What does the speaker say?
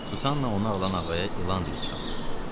Susanna onu alan ağaya ilan dili çıxartdı.